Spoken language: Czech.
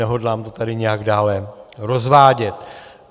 Nehodlám to tady nijak dále rozvádět.